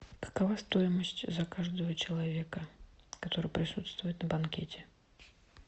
какова стоимость за каждого человека который присутствует на банкете